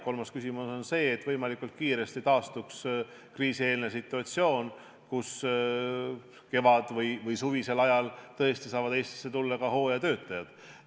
Kolmas küsimus on see, et võimalikult kiiresti taastuks kriisieelne situatsioon, nii et kevadel või suvisel ajal tõesti saaksid Eestisse tulla ka hooajatöötajad.